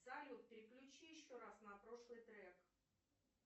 салют переключи еще раз на прошлый трек